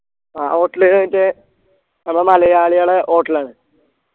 ആ hotel മറ്റെ നമ്മ മലയാളികളെ hotel ആണ്